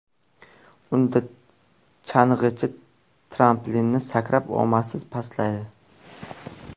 Unda chang‘ichi tramplindan sakrab, omadsiz pastlaydi.